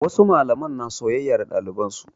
Wasu malaman na soyayya da ɗaliban su.